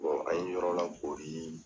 an ye yɔrɔ lakori